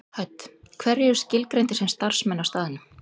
Hödd: Hverjir eru skilgreindir sem starfsmenn á staðnum?